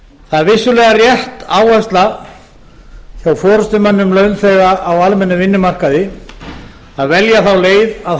það er vissulega rétt áhersla hjá forustumönnum launþega á almennum vinnumarkaði að velja þá leið að